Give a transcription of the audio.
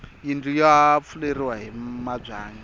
yindlu ya fuleriwa hi mabyanyi